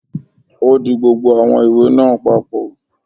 Ó di gbogbo àwọn ìwé náà papọ̀